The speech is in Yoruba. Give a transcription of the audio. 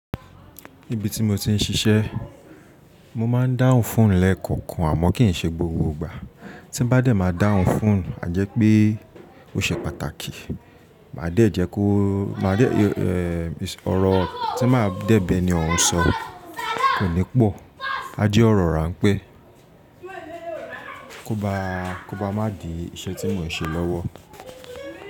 Níbi tí mo ti ń ṣiṣẹ́ mó máa ń dáhùn phone lẹ́ẹ̀kọ̀kan àmọ́ kì í ṣe gbogbo ìgbà. Ti n bá de ma dáhùn phone a je pe o se pàtàkì. Máa dẹ̀ jẹ́ kó, máa dẹ̀, ọ̀rọ̀ tí máa dẹ̀ bẹ́ẹ̀ni ọ̀un sọ kò ní pọ̀. A jẹ́ ọ̀rọ̀ rànpé kó bá, kó bá má dì iṣẹ́ tí mò ń ṣe lọ́wọ́.